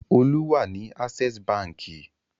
Olú wà ní Access Báńkì.